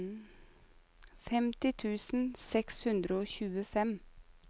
femti tusen seks hundre og tjuefem